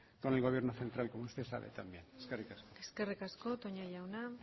con el gobierno central como usted sabe también eskerrik asko eskerrik asko toña jauna